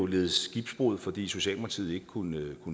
led skibbrud fordi socialdemokratiet ikke kunne